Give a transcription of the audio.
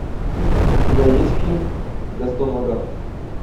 у тебя есть фильм гастон лагафф